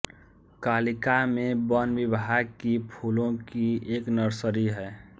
कालिका में वन विभाग की फूलों की एक नर्सरी है